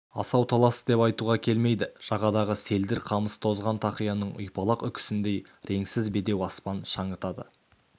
асау талас деп айтуға келмейді жағадағы селдір қамыс тозған тақияның ұйпалақ үкісіндей реңсіз бедеу аспан шаңытады